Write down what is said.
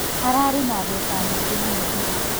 Ararĩ na mbeca nyingĩ mũno ira